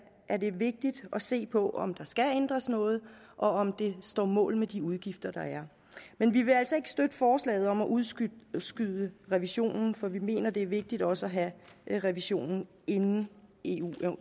er det vigtigt at se på om der skal ændres noget og om det står mål med de udgifter der er men vi vil altså ikke støtte forslaget om at udskyde revisionen for vi mener det er vigtigt også at have revisionen inden eu